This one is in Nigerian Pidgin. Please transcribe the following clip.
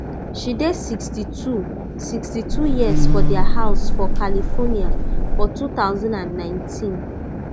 she dey sixty-two sixty-two years for dia house for california for two thousand and nineteen